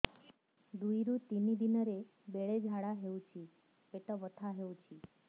ଦୁଇରୁ ତିନି ଦିନରେ ବେଳେ ଝାଡ଼ା ହେଉଛି ପେଟ ବଥା ହେଉଛି